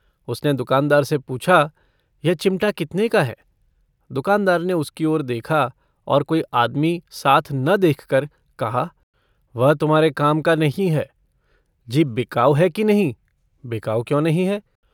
उसने दूकानदार से पूछा - यह चिमटा कितने का है दुकानदार ने उसकी ओर देखा, और कोई आदमी साथ न देखकर कहा - वह तुम्हारे काम का नहीं है जी। बिकाऊ है कि नहीं? बिकाऊ क्यों नहीं है।